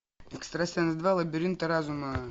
экстрасенс два лабиринты разума